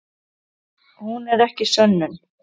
Hún er ekki sönnun.